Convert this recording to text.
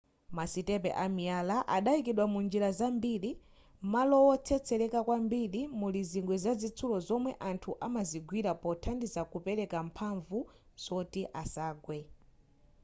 masitepe amiyalaya adaikidwa munjira zambiri malo wotsetsereka kwambiri muli zingwe zazitsulo zomwe anthu amazigwira pothandizira kupereka mphamvu zoti asagwe